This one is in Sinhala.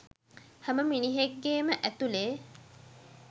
හැම මිනිහෙක්ගෙම ඇතුලේ